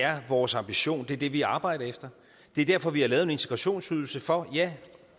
er vores ambition det er det vi arbejder efter det er derfor vi har lavet en integrationsydelse for